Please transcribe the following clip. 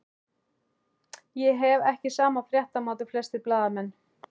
Ég hef ekki sama fréttamat og flestir blaðamenn.